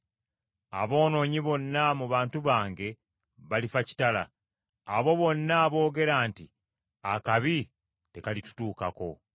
Aboonoonyi bonna mu bantu bange, balifa kitala, abo bonna aboogera nti, ‘Akabi tekalitutuukako.’ ”